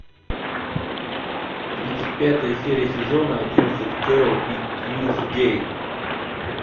тридцать пятая серия сезона одиннадцать кэрол и тьюсдей